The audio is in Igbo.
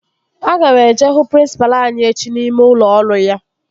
Aga m eje hụ prịnsịpalụ anyị echi n'ime ụlọ ọrụ ya